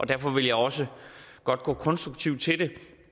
derfor vil jeg også godt gå konstruktivt til det